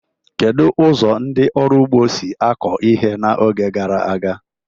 Kedu ụzọ ndị ọrụ ugbo si kọọ ihe n'oge gara aga?